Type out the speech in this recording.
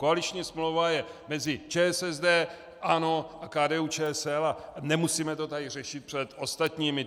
Koaliční smlouva je mezi ČSSD, ANO a KDU-ČSL a nemusíme to tady řešit před ostatními.